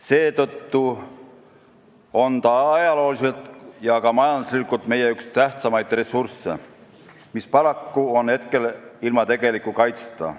Seetõttu on ta ajalooliselt ja ka majanduslikult meile üks tähtsamaid ressursse, mis paraku on hetkel ilma tegeliku kaitseta.